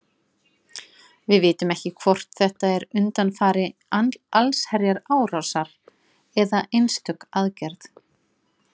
Við vitum ekki hvort þetta er undanfari allsherjarinnrásar eða einstök aðgerð.